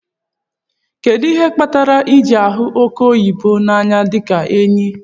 Kedu ihe kpatara iji hu oke oyibo na anya dika enyi?